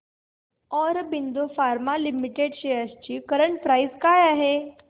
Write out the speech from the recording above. Aurobindo pharma limited shares ची current price काय आहे